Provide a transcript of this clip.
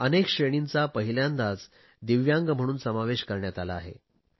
अनेक श्रेणींचा पहिल्यांदाच दिव्यांग म्हणून समावेश करण्यात आला आहे